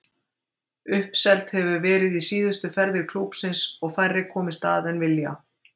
Uppselt hefur verið í síðustu ferðir klúbbsins og færri komist að en vilja.